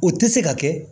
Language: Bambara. O tɛ se ka kɛ